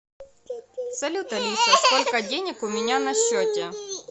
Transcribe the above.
салют алиса сколько денег у меня на счете